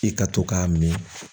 I ka to k'a min